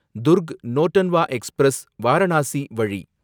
Durg Nautanwa express, Varanasi வழி